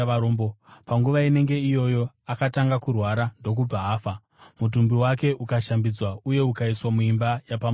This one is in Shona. Panguva inenge iyoyo akatanga kurwara ndokubva afa, mutumbi wake ukashambidzwa uye ukaiswa muimba yapamusoro.